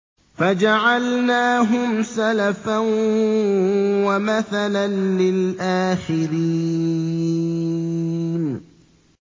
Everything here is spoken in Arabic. فَجَعَلْنَاهُمْ سَلَفًا وَمَثَلًا لِّلْآخِرِينَ